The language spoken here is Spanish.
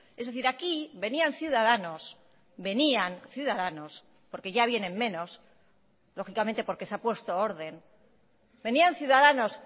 es decir aquí venían ciudadanos venían ciudadanos porque ya vienen menos lógicamente porque se ha puesto orden venían ciudadanos